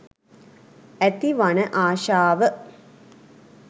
ඇති වන ආශාව